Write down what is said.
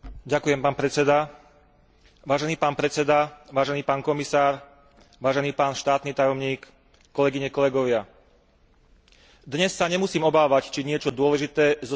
Vážený pán predseda, vážený pán komisár, vážený pán štátny tajomník, kolegyne, kolegovia, dnes sa nemusím obávať, či niečo dôležité zo svojej správy nestihnem povedať.